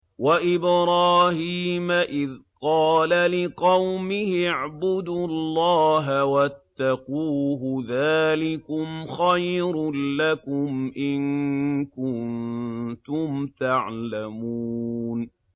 وَإِبْرَاهِيمَ إِذْ قَالَ لِقَوْمِهِ اعْبُدُوا اللَّهَ وَاتَّقُوهُ ۖ ذَٰلِكُمْ خَيْرٌ لَّكُمْ إِن كُنتُمْ تَعْلَمُونَ